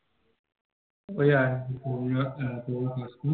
ঐ আরকি পুর্ণিমার চাঁদ